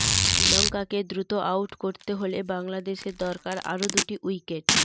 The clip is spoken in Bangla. শ্রীলংকাকে দ্রুত আউট করতে হলে বাংলাদেশের দরকার আর দুটি উইকেট